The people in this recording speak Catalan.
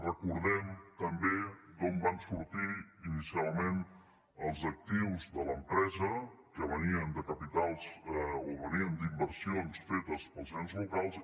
recordem també d’on van sortir inicialment els actius de l’empresa que venien de capitals o venien d’inversions fetes pels ens locals